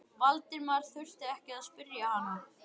Valdimar þurfti ekki að spyrja hana.